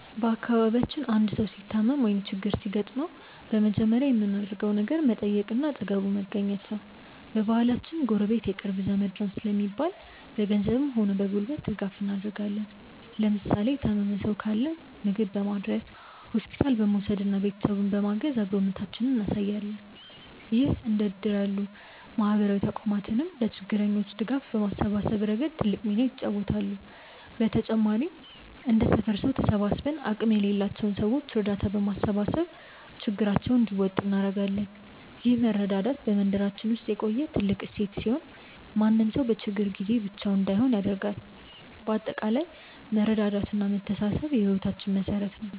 በአካባቢያችን አንድ ሰው ሲታመም ወይም ችግር ሲገጥመው በመጀመሪያ የምናደርገው ነገር መጠየቅና አጠገቡ መገኘት ነው። በባህላችን "ጎረቤት የቅርብ ዘመድ ነው" ስለሚባል፣ በገንዘብም ሆነ በጉልበት ድጋፍ እናደርጋለን። ለምሳሌ የታመመ ሰው ካለ ምግብ በማድረስ፣ ሆስፒታል በመውሰድና ቤተሰቡን በማገዝ አብሮነታችንን እናሳያለን። እንደ እድር ያሉ ማህበራዊ ተቋማትም ለችግረኞች ድጋፍ በማሰባሰብ ረገድ ትልቅ ሚና ይጫወታሉ። በተጨማሪም እንደ ሰፈር ሰው ተሰባስበን አቅም ለሌላቸው ሰዎች እርዳታ በማሰባሰብ ችግራቸውን እንዲወጡ እናደርጋለን። ይህ መረዳዳት በመንደራችን ውስጥ የቆየ ትልቅ እሴት ሲሆን፣ ማንም ሰው በችግር ጊዜ ብቻውን እንዳይሆን ያደርጋል። በአጠቃላይ መተሳሰብና መረዳዳት የህይወታችን መሠረት ነው።